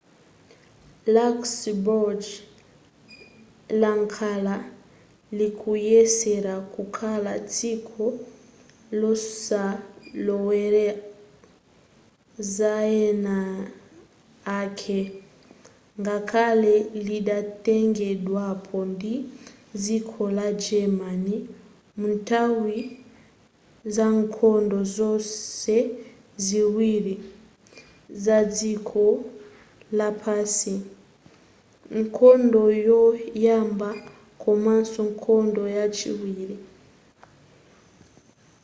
luxembourg lakhala likuyesera kukhala dziko losalowelera zaeniake ngakhale lidatengedwapo ndi dziko la german munthawi zankhondo zonse ziwiri zadziko lapansi nkhondo yoyamba komaso nkhondo yachiwiri